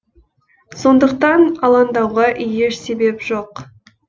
сондықтан алаңдауға еш себеп жоқ